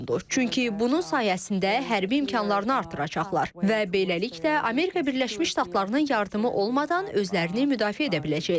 Çünki bunun sayəsində hərbi imkanlarını artıracaqlar və beləliklə Amerika Birləşmiş Ştatlarının yardımı olmadan özlərini müdafiə edə biləcəklər.